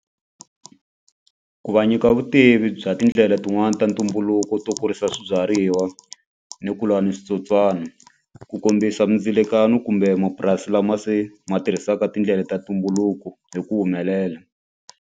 Ku va nyika vutivi bya tindlela tin'wani ta ntumbuluko to kurisa swibyariwa ni ku lwa ni switsotswana ku kombisa mindzilekano kumbe mapurasi lama se ma tirhisaka tindlela ta ntumbuluko hi ku humelela.